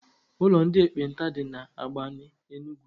Ụlọ ndị ekpenta dị na Agbani Enugu.